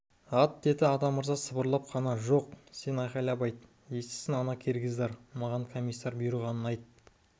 ат деді атамырза сыбырлап қана жоқ сен айқайлап айт естісін ана киргиздар маған комиссар бұйырғанын ат